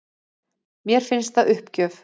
Mér finnst það uppgjöf